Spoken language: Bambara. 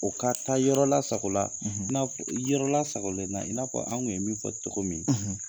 O ka taa yɔrɔ lasagola, yɔrɔ lasagogolen na i n'a fɔ an tun ye min fɔ cogo min, .